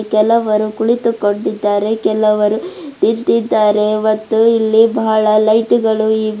ಕೆಲವರು ಕುಳಿತುಕೊಂಡಿದ್ದಾರೆ ಕೆಲವರು ನಿಂತಿದ್ದಾರೆ ಮತ್ತು ಇಲ್ಲಿ ಬಹಳ ಲೈಟ್ ಗಳು ಇವೆ.